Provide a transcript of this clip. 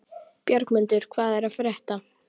Bjargmundur, hvað er að frétta?